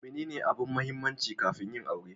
Menene abin mahimmanci kafin yin aure?